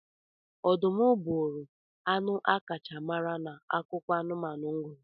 Ọdụm bụụrụ anụ akacha mara na akụkọ anụmanụ m gụrụ.